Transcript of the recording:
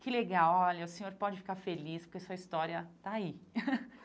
Que legal, olha, o senhor pode ficar feliz porque sua história tá aí.